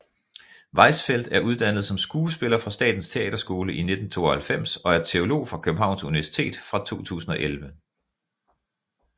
Weissfeld er uddannet som skuespiller fra Statens Teaterskole i 1992 og er teolog fra Københavns Universitet fra 2011